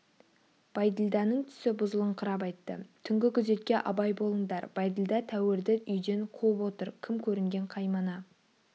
бәйділданың түсі бұзылыңқырап айтты түнгі күзетке абай болыңдар бәйділда тәуірді үйден қуып отыр кім көрінген қаймана